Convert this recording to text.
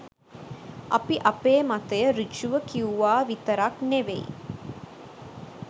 අපි අපේ මතය සෘජුව කිව්වා විතරක් ‍නෙවෙයි